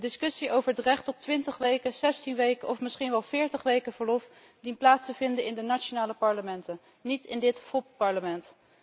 De discussie over het recht op 20 weken, 16 weken of misschien wel 40 weken verlof dient plaats te vinden in de nationale parlementen, niet in dit fopparlement.